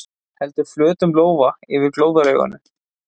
Heldur flötum lófa yfir glóðarauganu.